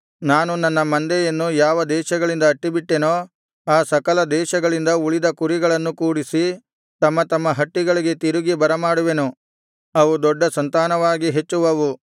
ನಾನು ನನ್ನ ಮಂದೆಯನ್ನು ಯಾವ ದೇಶಗಳಿಗೆ ಅಟ್ಟಿಬಿಟ್ಟೆನೋ ಆ ಸಕಲ ದೇಶಗಳಿಂದ ಉಳಿದ ಕುರಿಗಳನ್ನು ಕೂಡಿಸಿ ತಮ್ಮ ತಮ್ಮ ಹಟ್ಟಿಗಳಿಗೆ ತಿರುಗಿ ಬರಮಾಡುವೆನು ಅವು ದೊಡ್ಡ ಸಂತಾನವಾಗಿ ಹೆಚ್ಚುವವು